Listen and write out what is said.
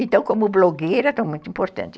Então, como blogueira, estou muito importante.